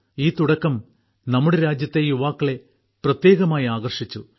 ഈ തുടക്കം നമ്മുടെ രാജ്യത്തെ യുവാക്കളെ പ്രത്യേകമായി ആകർഷിച്ചു